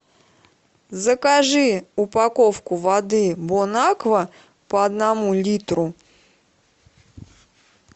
закажи упаковку воды бонаква по одному литру